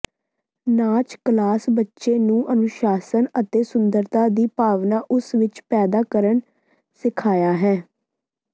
ਨਾਚ ਕਲਾਸ ਬੱਚੇ ਨੂੰ ਅਨੁਸ਼ਾਸਨ ਅਤੇ ਸੁੰਦਰਤਾ ਦੀ ਭਾਵਨਾ ਉਸ ਵਿੱਚ ਪੈਦਾ ਕਰਨ ਸਿਖਾਇਆ ਹੈ